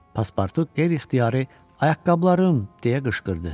Paspartu qeyri-ixtiyari: Ayaqqabılarım! – deyə qışqırdı.